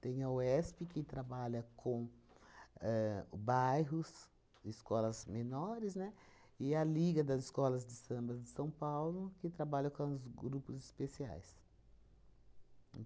Tem a UESP, que trabalha com ahn bairros, escolas menores, né, e a Liga das Escolas de Samba de São Paulo, que trabalha com os grupos especiais.